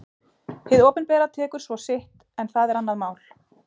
Hið opinbera tekur svo sitt en það er annað mál.